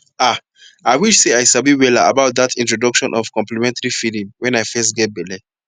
ahi wish sey i sabi wella about that introduction of complementary feeding when i fess geh belle